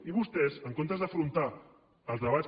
i vostès en comptes d’afrontar els debats